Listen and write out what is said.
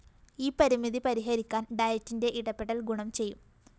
ഈ പരിമിതി പരിഹരിക്കാന്‍ ഡയറ്റിന്റെ ഇടപെടല്‍ ഗുണം ചെയ്യും